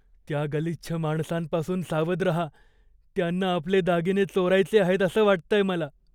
त्या गलिच्छ माणसांपासून सावध राहा. त्यांना आपले दागिने चोरायचे आहेत असं वाटतंय मला.